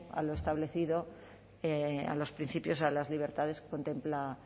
a lo establecido a los principios a las libertades que contempla